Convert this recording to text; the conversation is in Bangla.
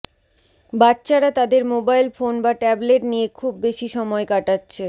বাচ্চারা তাদের মোবাইল ফোন বা ট্যাবলেট নিয়ে খুব বেশি সময় কাটাচ্ছে